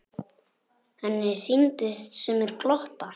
Henni sýndust sumir glotta.